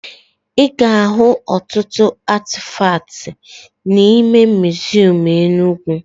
Ị ga-ahụ ọtụtụ atịfakt n'ime miziọm Enugwu